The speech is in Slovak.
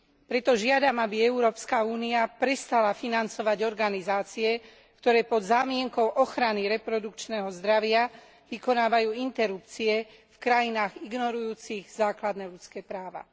Preto žiadam, aby Európska únia prestala financovať organizácie, ktoré pod zámienkou ochrany reprodukčného zdravia, vykonávajú interrupcie v krajinách ignorujúcich základné ľudské práva.